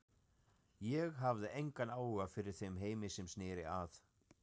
Ég hafði engan áhuga fyrir þeim heimi sem sneri að